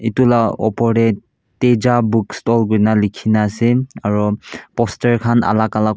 tuila opor teh teja book stall kuina likhina ase aro poster khan alak alak.